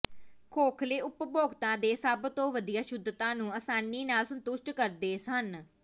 ਖੋਖਲੇ ਉਪਭੋਗਤਾ ਦੇ ਸਭ ਤੋਂ ਵਧੀਆ ਸ਼ੁੱਧਤਾ ਨੂੰ ਆਸਾਨੀ ਨਾਲ ਸੰਤੁਸ਼ਟ ਕਰਦੇ ਹਨ